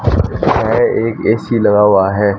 यह एक ए_सी लगा हुआ है।